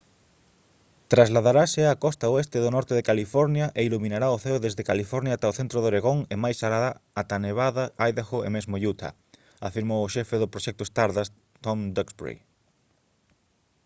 «trasladarase á costa oeste do norte de california e iluminará o ceo desde california ata o centro de oregón e máis alá ata nevada idaho e mesmo utah» afirmou o xefe do proxecto stardust tom duxbury